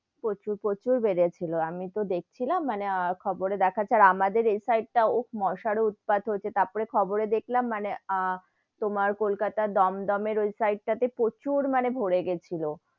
প্রচুর, প্রচুর বেড়েছিল আমি তো দেখছিলাম মানে খবর এ দেখাচ্ছে, আর আমাদের এই side টা, উহ মশার ও উৎপাত হয়েছে, তারপরে খবরে দেখলাম মানে আহ তোমার কলকাতার দমদম ওই side টা তে প্রচুর মানে ভোরে গেছিলো,